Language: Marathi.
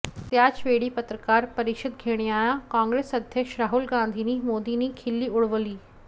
त्याचवेळी पत्रकार परिषद घेणाऱ्या काँग्रेस अध्यक्ष राहुल गांधींनी मोदींची खिल्ली उडवली